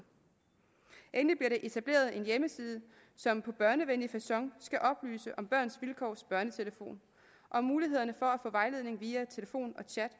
endelig bliver der etableret en hjemmeside som på børnevenlig facon skal oplyse om børns vilkårs børnetelefon og mulighederne for at få vejledning via telefon og chat